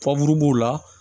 b'o la